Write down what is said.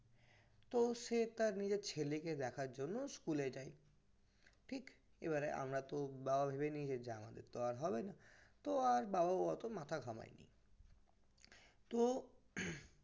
তো সে তার ছেলেকে দেখার জন্য school যায় এবারে আমরা তো বাবা তো ভেবে নিয়েছে যে আর হবেনা তো ওর বাবা হয়তো মাথা ঘামাইনি তো